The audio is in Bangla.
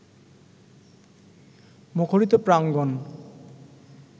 মুখরিত প্রাঙ্গণ